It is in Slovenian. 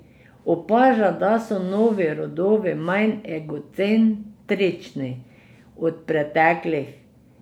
Opaža, da so novi rodovi manj egocentrični od preteklih.